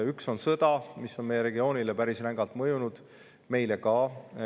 Üks on sõda, mis on meie regioonile päris rängalt mõjunud, meile ka.